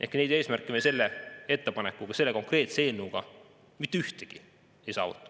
Ehk neid eesmärke me selle ettepanekuga, selle konkreetse eelnõuga mitte ühtegi ei saavuta.